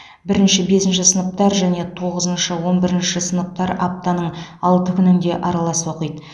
бірінші бесінші сыныптар және тоғызыншы он бірінші сыныптар аптаның алты күнінде аралас оқиды